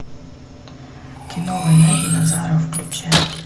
кино война динозавров включай